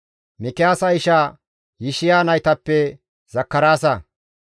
Mikiyaasa isha Yishiya naytappe Zakaraasa.